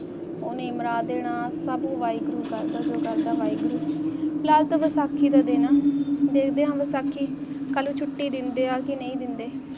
ਉਨੀ ਮਰਾ ਦੇਣਾ ਸਭ ਵਾਹਿਗੁਰੂ ਕਾ ਕੰਪਿਊਟਰ ਦਾ ਵਾਹਿਗੁਰੂ ਲਫਜ਼ ਸਾਖੀ ਦਾ ਦੇਣਾ ਦੇਵ ਸਾਖੀ ਨੂੰ ਛੁੱਟੀ ਹੈ ਕੇ ਨਹੀਂ ਦਿੰਦੇ